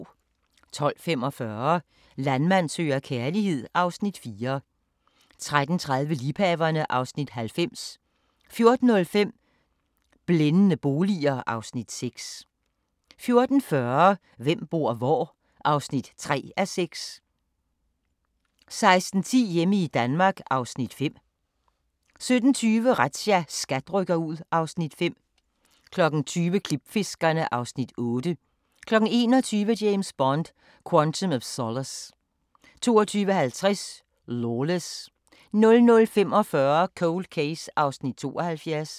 12:45: Landmand søger kærlighed (Afs. 4) 13:30: Liebhaverne (Afs. 90) 14:05: Blændende boliger (Afs. 6) 14:40: Hvem bor hvor? (3:6) 16:10: Hjemme i Danmark (Afs. 5) 17:20: Razzia – SKAT rykker ud (Afs. 5) 20:00: Klipfiskerne (Afs. 8) 21:00: James Bond: Quantum of Solace 22:50: Lawless 00:45: Cold Case (72:156)